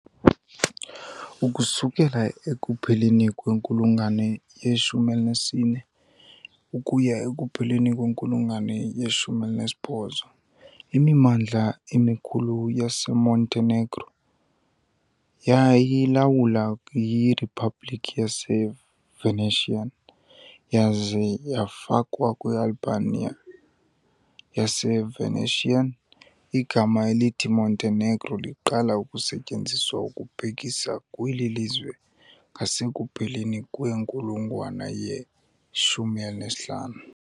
Ukususela ekupheleni kwenkulungwane ye-14 ukuya ekupheleni kwenkulungwane ye-18, imimandla emikhulu yaseMontenegro yayilawulwa yiRiphabliki yaseVenetian yaza yafakwa kwiAlbania yaseVenetian. Igama elithi "Montenegro" liqala ukusetyenziswa ukubhekisa kweli lizwe ngasekupheleni kwenkulungwane ye-15.